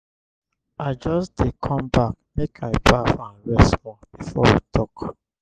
i just dey come back make i baff and rest small before we talk.